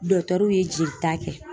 ye jelita kɛ